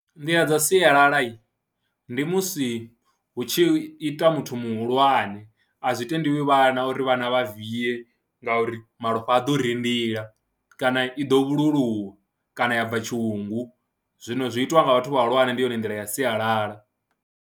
Nḓila dza sialala ndi musi hu tshi ita muthu muhulwane, a zwi tendiwi vhana uri vhana vha viye ngauri malofha a ḓo rindila kana i ḓo vhaluluwa kana ya bva tshiungu, zwino zwi itiwa nga vhathu vhahulwane ndi yone nḓila ya sialala.